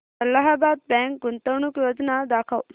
Allahabad bank गुंतवणूक योजना दाखव